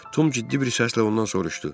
Tom ciddi bir səslə ondan soruşdu.